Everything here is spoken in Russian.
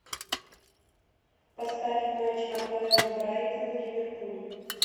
поставь матч апл брайтон ливерпуль